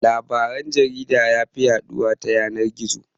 Labaran jarida yafi yaɗuwa ta yanan-gizo.